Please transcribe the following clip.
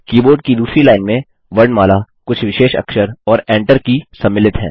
keyboard की दूसरी line में वर्णमाला कुछ विशेष अक्षर और Enter की सम्मिलित हैं